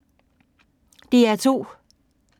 DR2